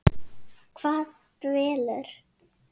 Hvað dvelur?